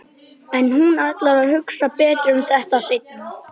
En hún ætlar að hugsa betur um þetta seinna.